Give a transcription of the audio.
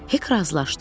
Hek razılaşdı,